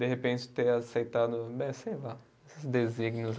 De repente ter aceitado, eh sei lá, esses desígnios aí.